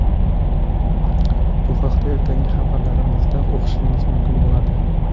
Bu haqda ertangi xabarlarimizda o‘qishingiz mumkin bo‘ladi.